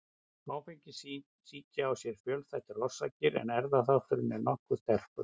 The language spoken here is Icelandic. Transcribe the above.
Áfengissýki á sér fjölþættar orsakir en erfðaþátturinn er nokkuð sterkur.